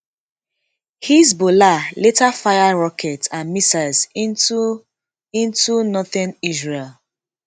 hezbollah later fire rockets and missiles into into northern israel